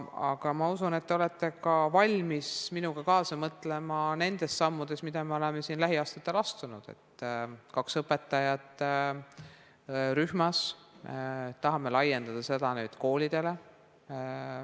Aga ma usun, et te olete ka valmis minuga kaasa mõtlema nendes sammudes, mida me oleme siin lähiaastatel astunud, et kaks õpetajat rühmas, tahame laiendada seda nüüd koolidele.